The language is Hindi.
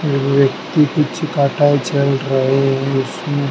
एक व्यक्ति पीछे काटा है चल रहे हैं इसमें--